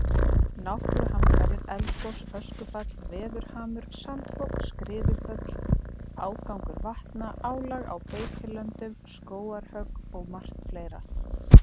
Náttúruhamfarir, eldgos, öskufall, veðurhamur, sandfok, skriðuföll, ágangur vatna, álag á beitilönd, skógarhögg og margar fleiri.